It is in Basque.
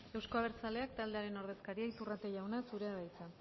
euzko abertzaleak taldearen ordezkaria iturrate jauna zurea da hitza